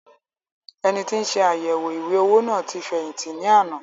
Ẹnití nse àyẹwò ìwé-owó náà tí fẹ̀yìntì ní àná